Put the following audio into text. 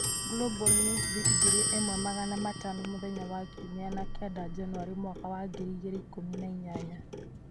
Global Newsbeat ngiri ĩmwe magana matano mũthenya wa ikũmi na kenda Janũarĩ mwaka wa ngiri igĩrĩ na ikũmi na inyanya